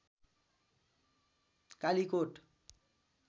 Kalikot